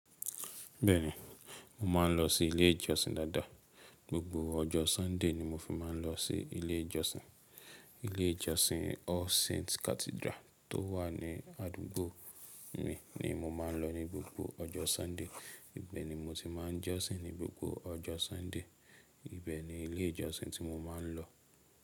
Bẹ́ẹ̀ni, mo máa ń lọ sí ilé ìjọsìn dáadáa. Gbogbo ọjọ́ Sunday ni mo fi máa ń lọ sí ilé ìjọsìn. Ilé ìjọsìn All Saints Cathedral tó wà ní àdúgbò mi ni mo máa ń lọ ní gbogbo ọjọ́ Sunday. Ibẹ̀ ni mo ti máa ń jọ́sìn ní gbogbo ọjọ́ Sunday. Ibẹ̀ ni ilé ìjọsìn tí mo máa ń lọ.